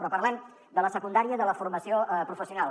però parlem de la secundària i de la formació professional